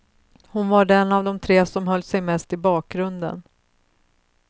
Hon var den av de tre som höll sig mest i bakgrunden.